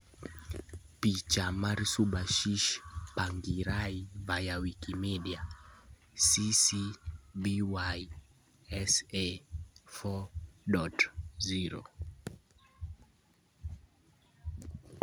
picha mar Subhashish Panigrahi via Wikimedia (CC BY-SA 4.0)